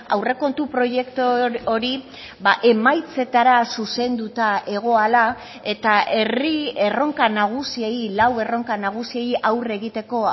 aurrekontu proiektu hori emaitzetara zuzenduta egoala eta herri erronka nagusiei lau erronka nagusiei aurre egiteko